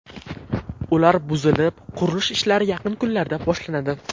Ular buzilib, qurilish ishlari yaqin kunlarda boshlanadi.